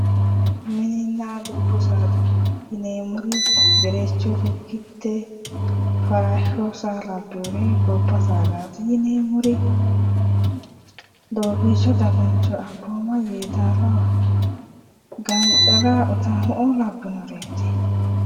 Mininna dubbu saada yineemmori gerecho lukkitte farashsho saa babbeereti gobba saadaati yineemmoti doobbiicho daguncho ambooma yeedaala gancara utaamo''oo labbinoreeti.